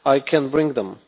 I can bring them.